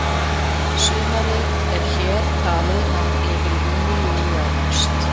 Sumarið er hér talið ná yfir júní, júlí og ágúst.